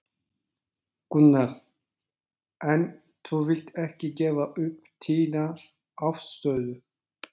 Gunnar: En þú vilt ekki gefa upp þína afstöðu?